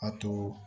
A to